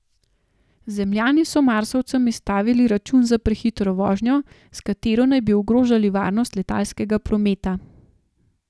Zemljani so Marsovcem izstavili račun za prehitro vožnjo, s katero naj bi ogrožali varnost letalskega prometa.